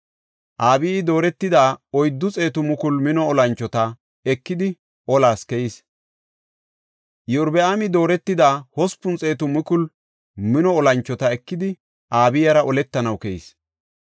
Abiyi dooretida oyddu xeetu mukulu mino olanchota ekidi olas keyis. Iyorbaami dooretida hospun xeetu mukulu mino olanchota ekidi Abiyara oletanaw keyis.